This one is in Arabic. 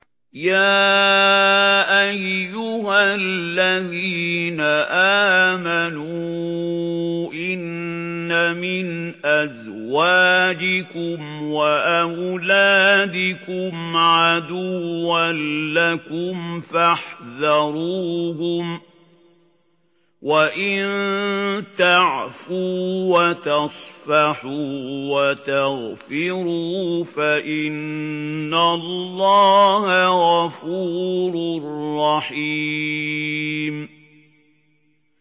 يَا أَيُّهَا الَّذِينَ آمَنُوا إِنَّ مِنْ أَزْوَاجِكُمْ وَأَوْلَادِكُمْ عَدُوًّا لَّكُمْ فَاحْذَرُوهُمْ ۚ وَإِن تَعْفُوا وَتَصْفَحُوا وَتَغْفِرُوا فَإِنَّ اللَّهَ غَفُورٌ رَّحِيمٌ